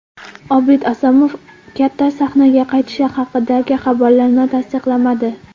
Obid Asomov katta sahnaga qaytishi haqidagi xabarlarni tasdiqlamadi.